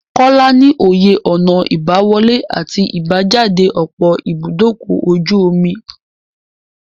Kọ́lá ní òye ọ̀nà ìbá wọlé àti ìbá jáde ọ̀pọ̀ ibúdókọ̀-ojú-omi.